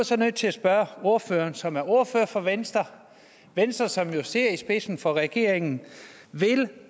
så nødt til at spørge ordføreren som er ordfører for venstre venstre som jo sidder i spidsen for regeringen vil